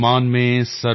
ਅਭੀ ਤੋ ਸੂਰਜ ਉਗਾ ਹੈ